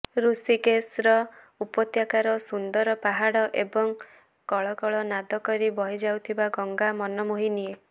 ଋଷିକେଶର ଉପତ୍ୟକାର ସୁନ୍ଦର ପାହାଡ ଏବଂ କଳକଳ ନାଦ କରି ବହିଯାଉଥିବା ଗଙ୍ଗା ମନ ମୋହିନିଏ